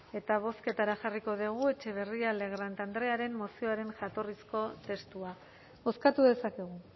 eta bozketara jarriko dugu etxebarrieta legrand andrearen mozioaren jatorrizko testua bozkatu dezakegu